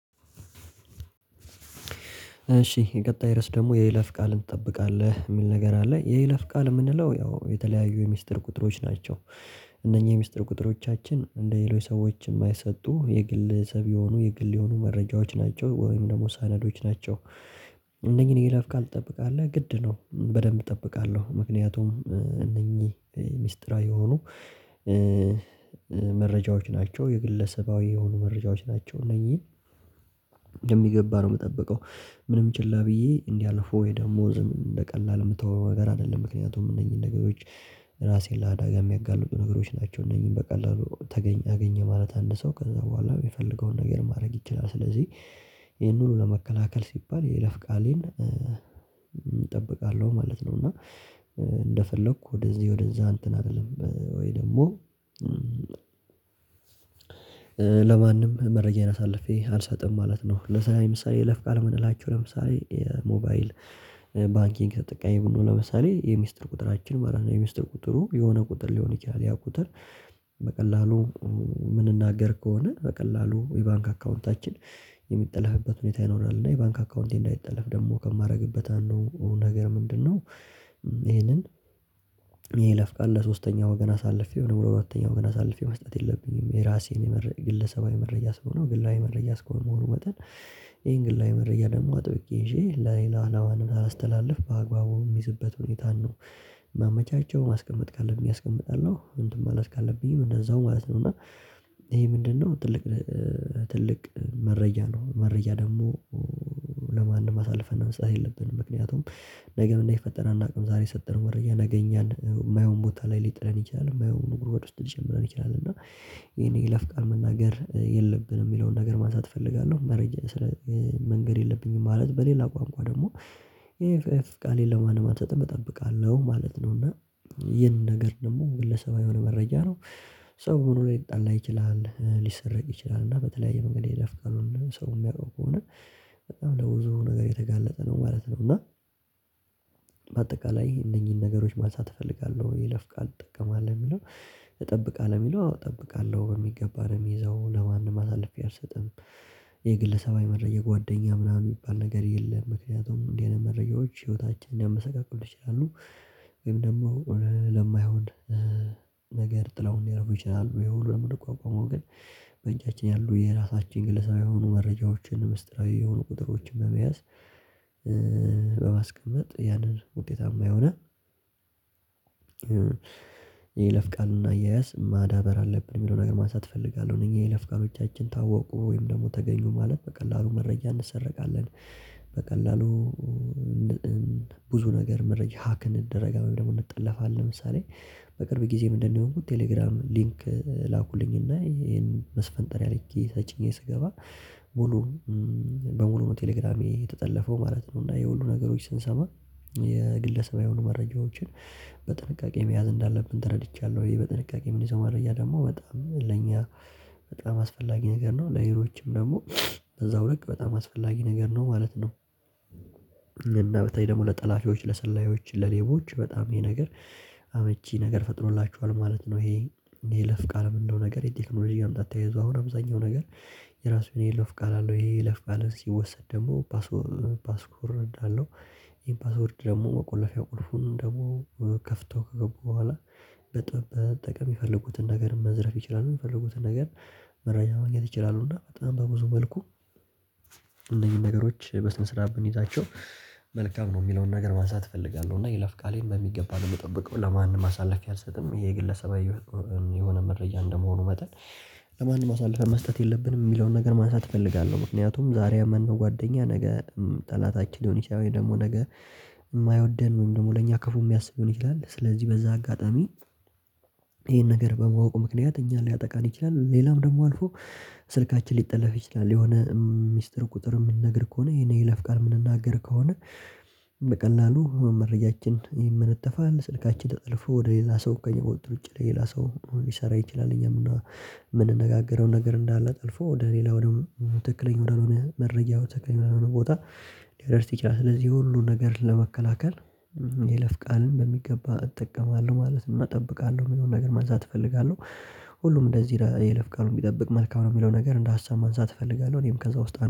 እሺ የቀጣይ ርዕስ ደግሞ የይለፍ ፍል ትጠብቃለህ የሚል ነገር አለ የይለፍ ቃል የምንለው ያው የተለያዩ የሚስጥር ቁጥሮች ናቸው እነኚህ የሚስጥር ቁጥሮቻችን እንደ ሌሎች ሰዎች የማይሰጡ የግልሰብ የሆኑ የግል የሆኑ መረጃዎች ናቸው ወይም ደግሞ ሰናዶች ናቸው እነኚህን የይለፍ ቃል ትጠብቃለህ ግድ ነው በደንብ እጠብቃለሁ ምክንያቱም እነኚህ ሚስጥራዊ የሆኑ መረጃዎች ናቸው የግለሰባዊ የሆኑ መረጃዎች ናቸው እነዚህ በሚገባ ነው የምጠብቀው ምንም ችላ ብዬ እንዲያልፉ ወይ ደግሞ ዝም በቀላሉ የምተወው ነገር አይደለም ምክንያቱም እነኚህን ነገሮች ራሴን ላዳጋ የሚያጋልጡ ነገሮች ናቸው እነኚህን በቀላሉ አገኘ ማለት አንድ ሰው ከዛ በኋላ የሚፈልገውን ነገር ማድረግ ይችላል ስለዚህ ይሄን ሁሉ ለመከላከል ሲባል የይለፍ ቃሌን እጠብቃለሁ ማለት ነው እና እንደፈለኩ ወደዚህ ወደዛ እንትን አልልም ወይ ደግሞ ለማንም መረጃዬን አሳልፌ አልሰጥም ማለት ነው ለስራ ምሳሌ የይለፍ ቃል የምንላቸው ለምሳሌ የሞባይል ባንኪንግ ተጠቃሚ ብንሆን ለምሳሌ የሚስጥር ቁጥራችን ማለት ነው የሚስጥር ቁጥሩ የሆነ ቁጥር ሊሆን ይችላል ያ ቁጥር በቀላሉ የምንናገር ከሆነ በቀላሉ የባንክ አካውንታችን የሚጠለፍበት ሁኔታ ይኖራል እና የባንክ አካውንቴ እንዳይጠለፍ ደግሞ ከማደርግበት ነገር አንዱ ደግሞ ምንድነው ይሄንን የይለፍ ቃል ለሶስተኛው ወገን አሳልፌው ወደ ሁለተኛው ገና አሳልፌው መስጠት የለብኝም የራሴን መረጃ ግለሰባዊ መረጃ ስለሆነ ግላዊ መረጃ ስኮል መሆኑ መጠን ይሄን ግላዊ መረጃ ደግሞ አጥብቄ ይዤ ለሌላ ለማንም ሳላስተላልፍ በአግባቡ የሚይዝበት ሁኔታን ነው ማመቻቸው ማስቀመጥ ካለብኝ አስቀምጣለሁ እንትን ማለት ካለብኝ እንደዛው ማለት ነው እና ይሄ ምንድነው ትልቅ ትልቅ መረጃ ነው መረጃ ደግሞ ለማንም አሳልፈን መስጠት የለብንም ምክንያቱም ነገ ምን እንደሚፈጠር እናውቅም ዛሬ የሰጠነው ወረጃ ነገ እኛን የማይሆን ቦታ ላይ ሊጥለን ይችላል የማይሆን ንጉር ውስጥ ሊጀምረን ይችላል እና ይሄን የይለፍ ቃን መናገር የለብንም የሚለውን ነገር ማንሳት እፈልጋለሁ መረጃ መንገድ የለብኝም ማለት በሌላ ቋንቋ ደግሞ ይሄ ፍፍ ቃሌን ለማን ማተተም እጠብቃለሁ ማለት ነው እና ባንኪንግ ተጠቃሚ ብንሆን ለምሳሌ የሚስጥር ቁጥራችን መለት ነው የሚስጥር ቁጥሩ የሆነ ቁጥር ሊሆን ይችላል ያ ቁጥር በቀላሉ የምንናገር ከሆነ በቀላሉ የባንክ አካውንታችን የሚጠለፍበት ሁኔታ ይኖራል እና የባንክ አካውንቴ እንዳይጠለፍ ደግሞ ከማደርግበት አንዱ ነገር ምንድነው ይሄንን በአጠቃላይ እነኚህን ነገሮች ማንሳት እፈልጋለሁ የይለፍ ቃል እጠቀማለሁ የሚለው እጠብቃለሁ የሚለው አዎ እጠብቃለሁ በሚገባ ነው ሚይዘው ለማንም አሳልፌ አልሰጥም። የግለሰባዊ መረጃ የጓደኛ ምናምን የሚባል ነገር የለም ምክንያቱም እንዲህ አይነት መረጃዎች ህይወታችንን ሊያመሰቃቅሉ ይችላሉ ወይም ደግሞ ለማይሆን ነገር ጥለውን ሊያደርጉ ይችላሉ ይሄውን ለመቋቋመው ግን በእጃችን ያሉ የራሳችን ግለሰባዊ የሆኑ መረጃዎችን ሚስጢራዊ የሆኑ ቁጥሮችን በመያዝ በማስቀመጥ ያንን ውጤታማ የሆነ ቃልና አያያዝ ማዳበር አለብን የሚለው ነገር ማንሳት እፈልጋለሁ የኛ የይለፍ ቃሎቻችን ታወቁ ወይም ደግሞ ተገኙ ማለት በቀላሉ መረጃ እንሰረቃለን በቀላሉ ብዙ ነገር መረጃ ሀክ እንደረጋለን ደግሞ እንጠላፋለን ለምሳሌ በቅርብ ጊዜ ምንድነው የሆንኩት ቴሌግራም ሊንክ ላኩልኝና ይሄን መስፈንጠሪያ ተጭኜ ስገባ ሙሉ በሙሉ ቴሌግራሜ የተጠለፈው ማለት ነው እና ይሄ ሁሉ ነገሮች ስንሰማ የግለሰባዊ የሆኑ መረጃዎችን በጥንቃቄ መያዝ እንዳለብኝ ተረድቻለሁ ወይም በጥንቃቄ ምን ይዘው መረጃ ደግሞ በጣም ለኛ በጣም አስፈላጊ ነገር ነው ለሌሎችም ደግሞ በዛው ልክ በጣም አስፈላጊ ነገር ነው ማለት ነው እና በተለይ ደግሞ ለጠላፊዎች ለሰላዮች ለሌቦች በጣም ይሄ ነገር አመቺ ነገር ፈጥሮላችኋል ማለት ነው ይሄ የይለፍ ቃል እንደው ነገር የቴክኖሎጂ መምጣት ተያይዞ አሁን አብዛኛው ነገር የራሱ የይለፍ ቃል አለው ይሄ የይለፍ ቃል ሲወሰድ ደግሞ ፓስዎርድ አለው ይህ ፓስወርድ ደግሞ መቆለፊያው ቁልፉን ደግሞ ከፍተው ከገቡ በኋላ መጠቀም የፈለጉትን ነገር መዝረፍ ይችላሉ የሚፈልጉትን ነገር መረጃ ማግኘት ይችላሉ እና በጣም በብዙ መልኩ እነዚህን ነገሮች በስነ ስርዓት ብንይዛቸው መልካም ነው የሚለውን ነገር ማንሳት እፈልጋለሁ እና ይለፍ ቃሌን በሚገባ ነው የምጠብቀው ለማንም አሳልፌ አልሰጥም ይሄ የግለሰባዊ የሆነ መረጃ እንደመሆኑ መጠን ለማንም አሳልፈን መስጠት የለብንም ሚለውን ነገር ማንሳት እፈልጋለሁ ምክንያቱም ዛሬ ያመነው ጓደኛ ነገ ጠላታችን ሊሆን ይችላል ወይም ደግሞ ነገ የማይወደን ነው ደግሞ ለኛ ክፉ የሚያስብ ሊሆን ይችላል ስለዚህ በዚህ አጋጣሚ ይሄን ነገር በማወቅ ምክንያት እኛን ሊያጠቃን ይችላል ሌላም ደግሞ አልፎ ስልካችን ሊጠለፍ ይችላል የሆነ ሚስጥር ቁጥር ምንነግር ከሆነ ይሄን ይለፍቃል የምንናገር ከሆነ በቀላሉ መረጃችን ይመነተፋል ስልካችን ተጠልፎ ወደ ሌላ ሰው እኮ የሚቆጥር ውጪ ሌላ ሰው ሊሰራ ይችላል እኛም እና የምንነጋገረው ነገር እንዳለ ጠልፎ ወደ ሌላ ወደ ትክክለኛ ወደሆነ መረጃ ትክክለኛ ወደሆነ ቦታ ሊያደርስ ይችላል ስለዚህ ሁሉን ነገር ለመከላከል የይለፍ ቃልን በሚገባ እጠቀማለሁ ማለት ነው እና እጠብቃለሁ የሚለውን ነገር መንሳት እፈልጋለሁ ሁሉም እንደዚህ ረጅም የይለፍ ቃሉን ቢጠብቅ መልካም ነው የሚለው ነገር እንደ ሀሳብ ማንሳት እፈልጋለሁ እኔም ከዛ ውስጥ